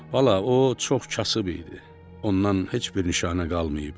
Bala, o çox kasıb idi, ondan heç bir nişanə qalmayıb.